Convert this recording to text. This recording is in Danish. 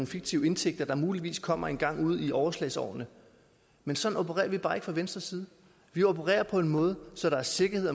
fiktive indtægter der muligvis kommer engang ude i overslagsårene men sådan opererer vi bare ikke fra venstres side vi opererer på en måde så der er sikkerhed